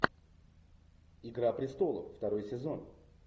игра престолов второй сезон